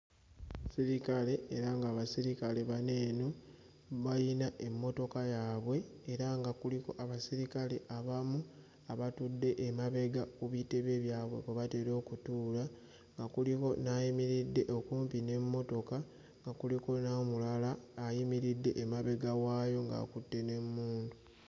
Sirikale era ng'abasirikale bano eno bayina emmotoka yaabwe era nga kuliko abaserikale abamu abatudde emabega ku bitebe byabwe kwe batera okutuula, nga kuliko n'ayimiridde okumpi n'emmotoka, nga kuliko n'omulala ayimiridde emabega waayo ng'akutte n'emmundu.